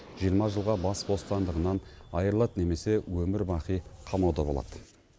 жиырма жылға бас бостандығынан айырылады немесе өмірбақи қамауда болады